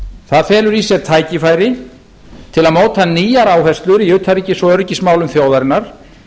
það felur í sér tækifæri til að móta nýjar áherslur í utanríkis og öryggismálum þjóðarinnar